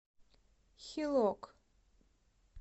хилок